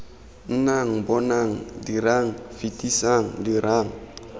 nnang bonang dirang fetisang dirang